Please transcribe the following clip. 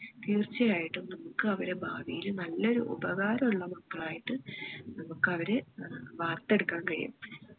തീർച്ച ആയിട്ടും നമ്മക്ക് അവരെ ഭാവിയില് നല്ലൊരു ഉപകാരമുള്ള മക്കളായിട്ട് നമ്മക്ക് അവരെ ഏർ വാർത്തെടുക്കാൻ കഴിയും